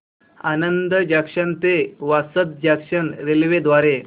Anand junction ते Vasad junction railway द्वारे